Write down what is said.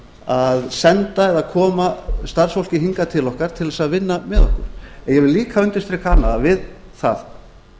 að senda eða koma starfsfólki hingað til okkar til þess að vinna með okkur ég vil líka undirstrika annað að við það